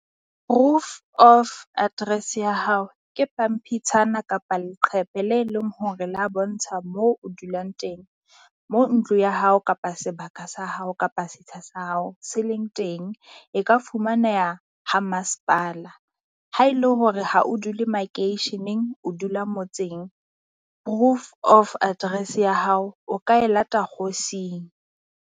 Proof of address ya hao ke pampitshana kapa leqephe le leng hore la bontsha moo o dulang teng moo ntlo ya hao kapa sebaka sa hao kapa setsha sa hao se leng teng. E ka fumaneha ha masepala ha e le hore ha o dule makeisheneng o dula motseng. Proof of address ya hao, o ka e lata kgosing.